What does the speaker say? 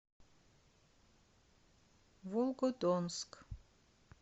волгодонск